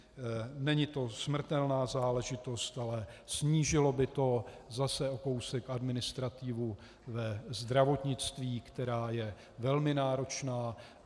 Není to smrtelná záležitost, ale snížilo by to zase o kousek administrativu ve zdravotnictví, která je velmi náročná.